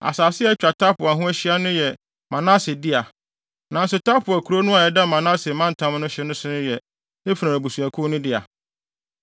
(Asase a atwa Tapua ho ahyia no yɛ Manase dea, nanso Tapua kurow no a ɛda Manase mantam no hye so no yɛ Efraim abusuakuw no dea.)